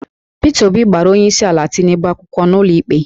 Peter Obi gbara onyeisiala Tinubu akwụkwọ n'ụlọikpe